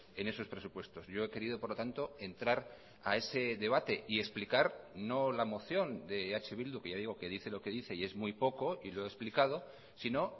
en esos presupuestos yo he querido por lo tanto entrar a ese debate y explicar no la moción de eh bildu que ya digo que dice lo que dice y es muy poco y lo he explicado sino